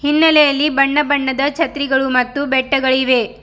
ಹಿನ್ನೆಲೆಯಲ್ಲಿ ಬಣ್ಣ ಬಣ್ಣದ ಛತ್ರಿಗಳು ಮತ್ತು ಬೆಟ್ಟಗಳಿವೆ.